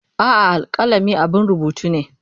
A'a, alkalami abun rubutu ne.